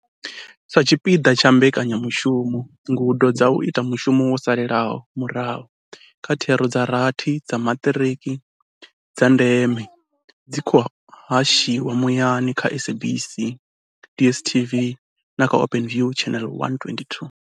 Sa tshipiḓa tsha mbekanyamushumo, ngudo dza u ita mushumo wo salelaho murahu kha thero dza rathi dza maṱiriki dza ndeme dzi khou hashiwa muyani kha SABC, DSTV na kha Openview, Channel 122.